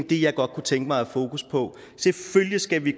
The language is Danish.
det jeg godt kunne tænke mig at have fokus på selvfølgelig skal vi